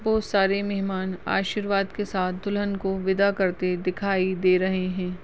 बहुत सारे मेहमान आशीर्वाद के साथ दुल्हन को विदा करते दिखाई दे रहे है।